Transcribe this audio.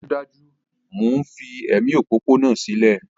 Dájúdájú! Mò ń fi ẹ̀mí òpópónà sílẹ̀